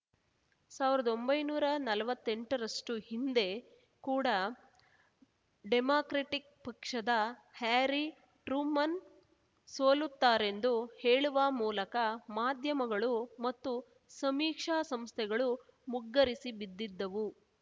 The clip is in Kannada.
ಸಾವ್ರ್ದೊಂಭೈನೂರಾ ನಲ್ವತ್ತೆಂಟರಷ್ಟುಹಿಂದೆ ಕೂಡ ಡೆಮಾಕ್ರೆಟಿಕ್‌ ಪಕ್ಷದ ಹ್ಯಾರಿ ಟ್ರೂಮನ್‌ ಸೋಲುತ್ತಾರೆಂದು ಹೇಳುವ ಮೂಲಕ ಮಾಧ್ಯಮಗಳು ಮತ್ತು ಸಮೀಕ್ಷಾ ಸಂಸ್ಥೆಗಳು ಮುಗ್ಗರಿಸಿ ಬಿದ್ದಿದ್ದವು